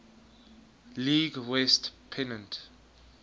league west pennant